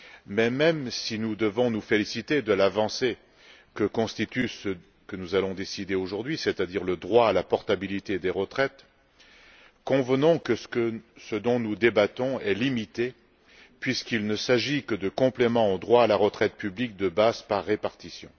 Mais même si nous devons nous féliciter de l'avancée que constitue ce que nous allons décider aujourd'hui, c'est à dire le droit à la portabilité des retraites, convenons que la question examinée est limitée puisqu'il ne s'agit que de compléments au droit à la retraite publique de base par répartition.